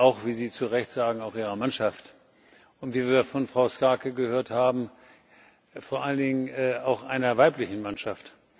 Übrigens wie Sie zu Recht sagen auch Ihrer Mannschaft wie wir von Frau Schaake gehört haben, vor allen Dingen einer weiblichen Mannschaft.